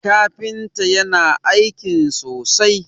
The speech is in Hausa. kafinta yana aikin sosai!